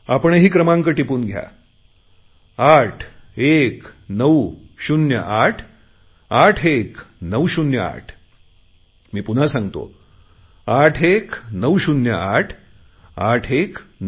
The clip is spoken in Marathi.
आपणही क्रमांक टिपून घ्या 8190881908 मी पुन्हा सांगतो 8190881908